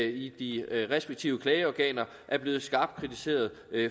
i de respektive klageorganer er blevet skarpt kritiseret